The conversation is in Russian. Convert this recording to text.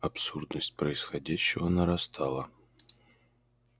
абсурдность происходящего нарастала